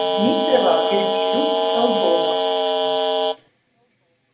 дмитрова вербилюк талдома